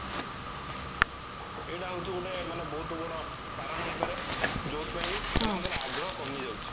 ଏଇଟା ହଉଚି ଗୋଟେ ମାନେ ବହୁତ ବଡ କାରଣ ହେଇପାରେ ଯୋଉଥି ପାଇଁ କି ଆଗ୍ରହ କମି ଯାଉଚି